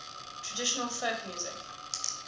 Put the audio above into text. traditional folk music